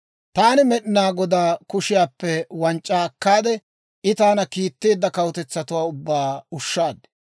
Taani Med'inaa Godaa kushiyaappe wanc'c'aa akkaade, I taana kiitteedda kawutetsatuwaa ubbaa ushshaad.